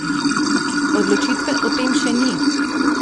Odločitve o tem še ni.